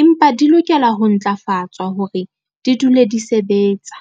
empa di lokela ho ntlafatswa hore di dule di sebetsa.